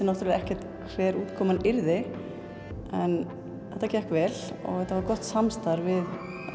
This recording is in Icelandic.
náttúrulega ekkert hver útkoman yrði en þetta gekk vel og þetta var gott samstarf við